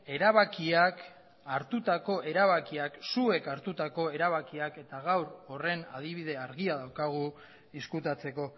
erabakiak zuek hartutako erabakiak eta gaur horren adibide argia daukagu ezkutatzeko